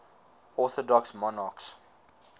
orthodox monarchs